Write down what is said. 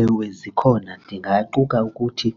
Ewe, zikhona ndingaquka ukuthi